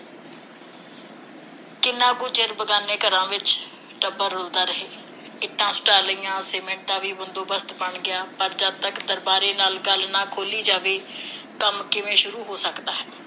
ਕਿੰਨਾ ਕੁ ਚਿਰ ਬਗਾਨੇ ਘਰਾਂ ਵਿਚ ਟੱਬਰ ਰੁਲਦਾ ਰਹੇ। ਇੱਟਾਂ ਸੁਟਾ ਲਈਆਂ, ਸੀਮੈਂਟ ਦਾ ਵੀ ਬੰਦੋਬਸਤ ਬਣ ਗਿਆ, ਪਰ ਜਦ ਤੱਕ ਦਰਬਾਰੇ ਨਾਲ ਗੱਲ ਨਾ ਖੋਲ੍ਹੀ ਜਾਵੇ, ਕੰਮ ਕਿਵੇਂ ਸ਼ੁਰੂ ਹੋ ਸਕਦਾ ਹੈ?